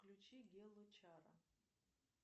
включи гелла чара